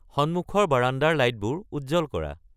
সন্মুখৰ বাৰাণ্ডাৰ লাইটবোৰ উজ্জ্বল কৰা